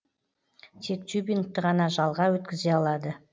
тек тюбингті ғана жалға өткізе алады